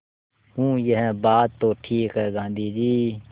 हूँ यह बात तो ठीक है गाँधी जी